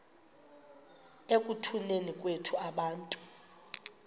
ekutuneni kwethu abantu